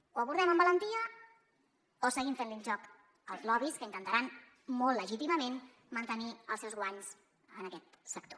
o ho abordem amb valentia o seguim fent li el joc als lobbys que intentaran molt legítimament mantenir els seus guanys en aquest sector